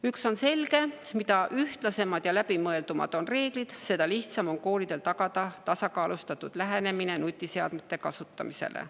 Üks on selge: mida ühtlasemad ja läbimõeldumad on reeglid, seda lihtsam on koolidel tagada tasakaalustatud lähenemise nutiseadmete kasutamisele.